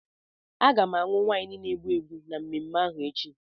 Aga m aṅụ waịnu na-egbu egbu na mmemme ahụ echi.